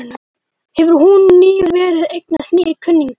Hefur hún nýverið eignast nýja kunningja?